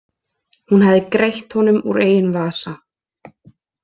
Hún hafði greitt honum úr eigin vasa.